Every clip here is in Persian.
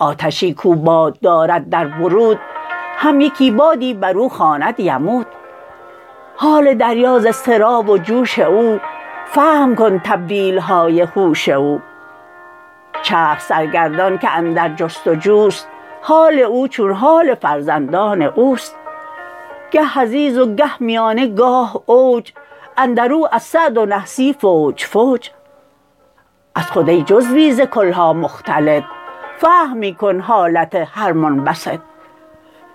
آتشی کو باد دارد در بروت هم یکی بادی برو خواند یموت حال دریا ز اضطراب و جوش او فهم کن تبدیلهای هوش او چرخ سرگردان که اندر جست و جوست حال او چون حال فرزندان اوست گه حضیض و گه میانه گاه اوج اندرو از سعد و نحسی فوج فوج از خود ای جزوی ز کلها مختلط فهم می کن حالت هر منبسط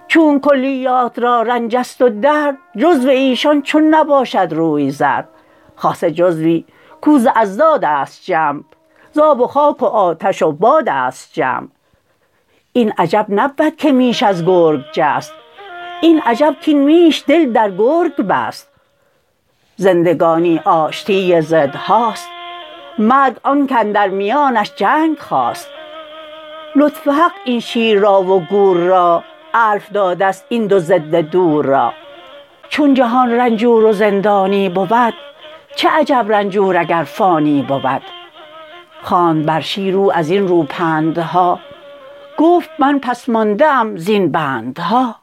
چونک کلیات را رنجست و درد جزو ایشان چون نباشد روی زرد خاصه جزوی کو ز اضدادست جمع ز آب و خاک و آتش و بادست جمع این عجب نبود که میش از گرگ جست این عجب کین میش دل در گرگ بست زندگانی آشتی ضدهاست مرگ آنک اندر میانش جنگ خاست لطف حق این شیر را و گور را الف دادست این دو ضد دور را چون جهان رنجور و زندانی بود چه عجب رنجور اگر فانی بود خواند بر شیر او ازین رو پندها گفت من پس مانده ام زین بندها